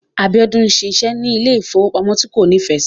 Abiola ń ṣiṣẹ́ ní ilé ìfowópamọ́ tí kò nífẹ̀ẹ́ sí.